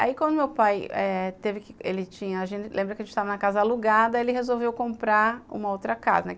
Aí, quando meu pai teve que... Ele tinha... A gente lembra que a gente estava na casa alugada, ele resolveu comprar uma outra casa, né?